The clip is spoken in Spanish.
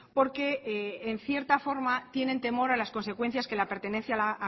porque en cierta forma tienen temor a las consecuencias que la pertenencia a la